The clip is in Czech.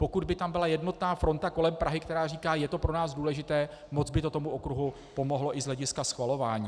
Pokud by tam byla jednotná fronta kolem Prahy, která říká "je to pro nás důležité", moc by to tomu okruhu pomohlo i z hlediska schvalování.